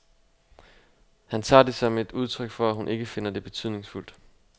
Han tager det som et udtryk for, at hun ikke finder det betydningsfuldt.